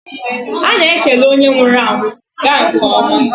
A na-ekele onye nwụrụ anwụ; gaa nke ọma.